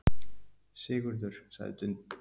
Sigurður, sagði Dundi.